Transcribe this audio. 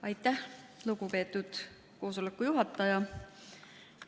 Aitäh, lugupeetud koosoleku juhataja!